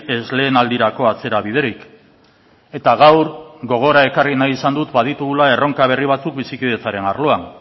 ez lehenaldirako atzerabiderik eta gaur gogora ekarri nahi izan dut ba ditugula erronka berri batzuk bizikidetzaren arloan